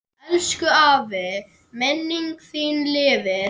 Elsku afi, minning þín lifir.